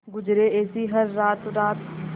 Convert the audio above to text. गुजरे ऐसी हर रात रात